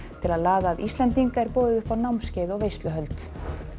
til að laða að Íslendinga er boðið upp á námskeið og veisluhöld